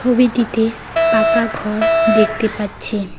ছবিটিতে পাকাঘর দেখতে পাচ্ছেন।